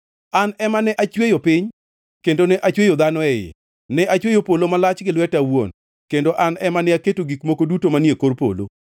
An ema ne achweyo piny kendo ne achweyo dhano e iye. Ne achweyo polo malach gi lweta awuon, kendo an ema ne aketo gik moko duto manie kor polo.